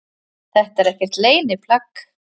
Þetta er ekkert leyniplagg